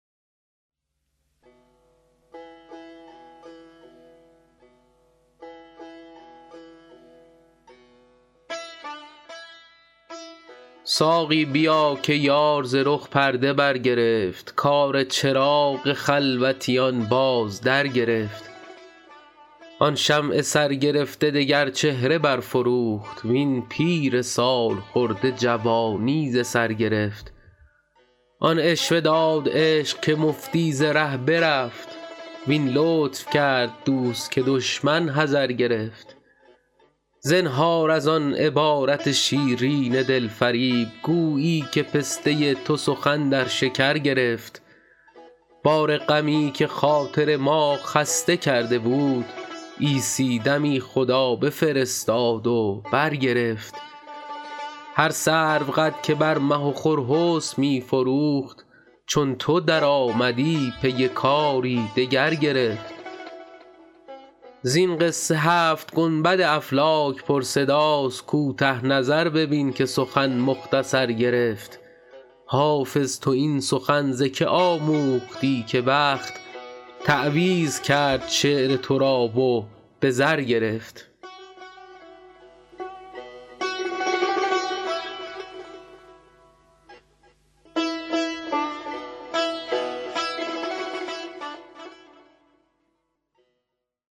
ساقی بیا که یار ز رخ پرده برگرفت کار چراغ خلوتیان باز درگرفت آن شمع سرگرفته دگر چهره برفروخت وین پیر سال خورده جوانی ز سر گرفت آن عشوه داد عشق که مفتی ز ره برفت وان لطف کرد دوست که دشمن حذر گرفت زنهار از آن عبارت شیرین دل فریب گویی که پسته تو سخن در شکر گرفت بار غمی که خاطر ما خسته کرده بود عیسی دمی خدا بفرستاد و برگرفت هر سروقد که بر مه و خور حسن می فروخت چون تو درآمدی پی کاری دگر گرفت زین قصه هفت گنبد افلاک پرصداست کوته نظر ببین که سخن مختصر گرفت حافظ تو این سخن ز که آموختی که بخت تعویذ کرد شعر تو را و به زر گرفت